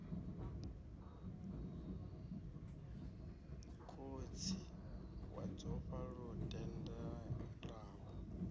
khotsi wa dzofha lu tendelaho